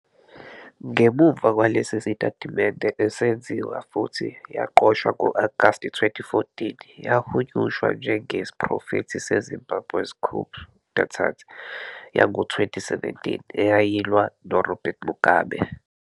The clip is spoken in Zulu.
ngemuva kwalesi sitatimende, esenziwa futhi yaqoshwa ngo-Agasti 2014, yahunyushwa njengesiprofetho se-Zimbabwe's coup d'état yango-2017 eyayilwa noRobert Mugabe.